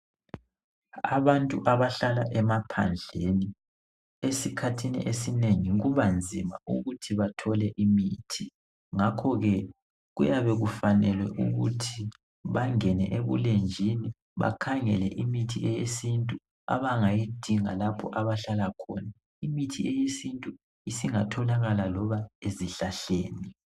Abantu abahlala emaphandleni esikhathini esinengi kubanzima ukuthi bathole imithi ngakho ke kuyabe kufanele ukuthi bangene ebulenjini bakhangele imithi yesintu abangayinga lapho abahlala khona. Imithi yesintu isingatholakala loba ezihlahleni.